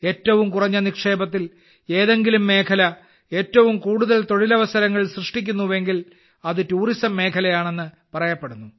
ഏറ്റവും കുറഞ്ഞ നിക്ഷേപത്തിൽ ഏതെങ്കിലും മേഖല ഏറ്റവും കൂടുതൽ അവസരങ്ങൾ സൃഷ്ടിക്കുന്നു എങ്കിൽ അത് ടൂറിസം മേഖലയാണെന്ന് പറയപ്പെടുന്നു